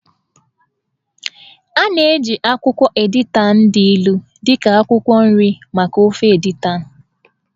A na-eji akwụkwọ editan dị ilu dị ka akwụkwọ nri maka ofe editan.